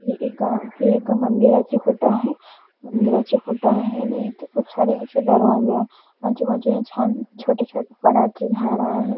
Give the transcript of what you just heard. हे एका हे एका मंदिराचे फोटो आहे मंदिराचे फोटो आहे आणि इथं खूप सारे असे दरवाजे आहे आजूबाजूने छान छोटे-छोटे वडाचे झाड आहे.